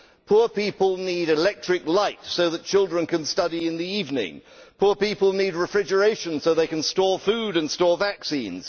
Poor people need electric light so that children can study in the evening poor people need refrigeration so that they can store food and store vaccines